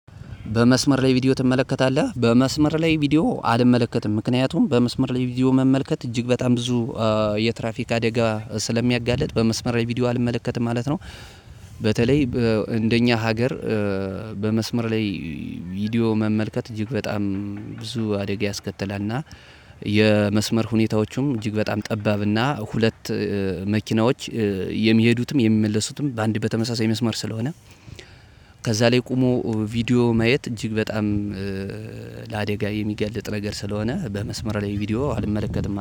በመስመር ላይ ቪዲዮ ትመለከታለህ? በመስመር ላይ ቪዲዮ አልመለከትም። ምክንያቱም በመስመር ላይ ቪዲዮ መመልከት እጅግ በጣም ብዙ የትራፊክ አደጋ ስለሚያጋልጥ በመስመር ቪዲዮ አልመለከትም ማለት ነው። በተለይ እንደኛ ሀገር በመስመር ላይ ቪዲዮ መመልከት እጅግ በጣም ብዙ አደጋ ያስከትላል እና። የመስመር ሁኔታዎቹም እጅግ በጣም ጠባብ እና ሁለት መኪናዎች የሚሄዱትም የሚመለሱትም በአንድ በተመሳሳይ መስመር ስለሆነ- ከዛ ላይ ቆሞ ቪዲዮ ማየት እጅግ በጣም ለአደጋ የሚጋልጥ ነገር ስለሆነ በመስመር ላይ ቪዲዮ አልመለከትም።